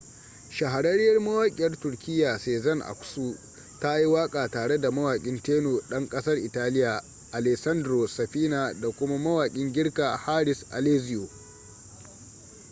shahararriyar mawaƙiyar turkiyya sezen aksu ta yi waƙa tare da mawaƙin tenor ɗan ƙasar italiya alessandro safina da kuma mawakin girka haris alexiou